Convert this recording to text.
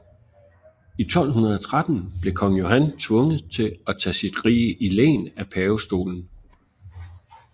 I 1213 blev kong Johan tvunget til at tage sit rige i len af pavestolen